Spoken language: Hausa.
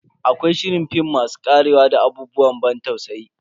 Akwai shirin film masu karewa da abubuwan ban tausayi.